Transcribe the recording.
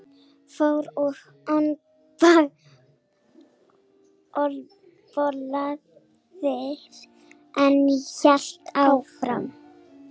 Fór úr olnbogalið en hélt áfram